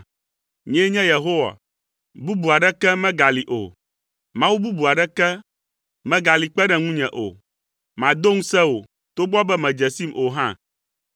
Nyee nye Yehowa. Bubu aɖeke megali o. Mawu bubu aɖeke megali kpe ɖe ŋunye o. Mado ŋusẽ wò togbɔ be mèdze sim o hã.